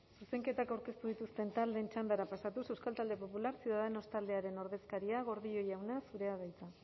zuzenketak aurkeztu dituzten taldeen txandara pasatuz euskal talde popular ciudadanos taldearen ordezkaria gordillo jauna zurea da hitza